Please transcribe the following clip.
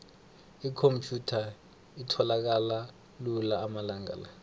ikhomphyutha itholakala lula amalanga la